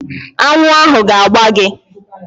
Aṅụ ahụ ga-agba gi